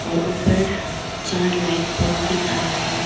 और ऊपर चार लाइट बल्ब दिख रहा है।